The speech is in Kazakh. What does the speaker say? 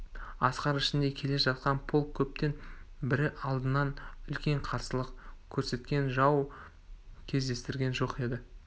асқар ішінде келе жатқан полк көптен бері алдынан үлкен қарсылық көрсеткен жау кездестірген жоқ еді